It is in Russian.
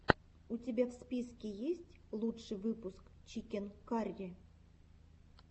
у тебя в списке есть лучший выпуск чикен карри